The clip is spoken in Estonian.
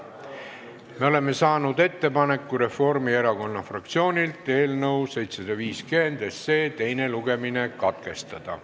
Me oleme saanud Reformierakonna fraktsioonilt ettepaneku eelnõu 750 teine lugemine katkestada.